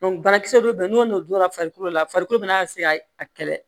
banakisɛ dɔ bɛ yen n'o no donna farikolo la farikolo be na se ka kɛlɛ